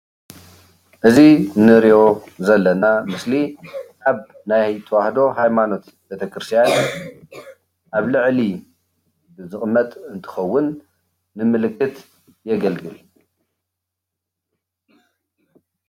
እዚ ንሪኦ ዘለና ምስሊ አብ ናይ ተዋህዶ ሃይማኖት ቤተክርስትያን አብ ልዕሊ ዝቅመጥ እንትከውን ብምልክት የገልግል።